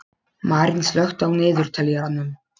Marín, slökktu á niðurteljaranum.